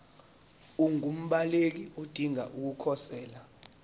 ungumbaleki odinge ukukhosela